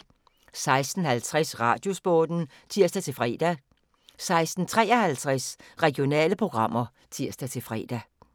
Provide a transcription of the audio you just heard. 16:50: Radiosporten (tir-fre) 16:53: Regionale programmer (tir-fre)